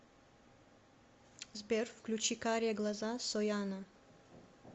сбер включи карие глаза сояна